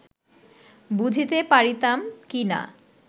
বুঝিতে পারিতাম কি না